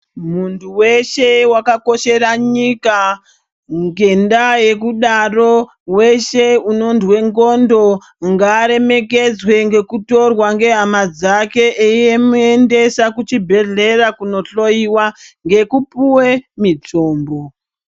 Muntu weshe waka koshera nyika ngenda yekudaro weshe unondwe ndxondo ngaa remekedzwe ngeku torwa nge hama dzake eimu endesa ku chibhedhleya kuno hloyiwa ngeku puwe mitombo.